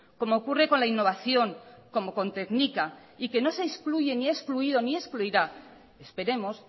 como ocurre con la innovación como con tknika y que no se excluye ni ha excluido ni excluirá esperemos